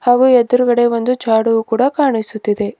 ಹಾಗೂ ಎದುರುಗಡೆ ಒಂದು ಜಾಡುವು ಕೂಡಾ ಕಾಣಿಸುತ್ತಿದೆ.